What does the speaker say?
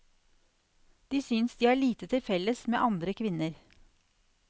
De synes de har lite til felles med andre kvinner.